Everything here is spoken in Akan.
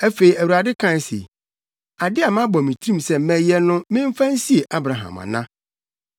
Afei, Awurade kae se, “Ade a mabɔ me tirim sɛ mɛyɛ no memfa nsie Abraham ana?